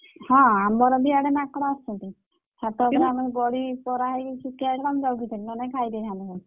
ହଁ ଆମର ବି ଇଆଡେ ମାଙ୍କଡ ଅଛନ୍ତି ଛାତ ଉପରେ ଆମର ବଢି ପରା ହେଇକି ସୁକା ହେଇଥିଲା ମୁଁ ତାକୁ ଘିତି ଆଣିଲି ନହେଲେ ଖାଇ ଦେଇଥାନ୍ତା।